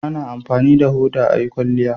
A na amfani da hoda a yi kwalliya